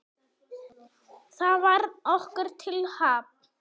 Það varð okkur til happs.